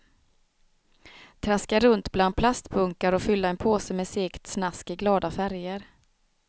Traska runt bland plastbunkar och fylla en påse med segt snask i glada färger.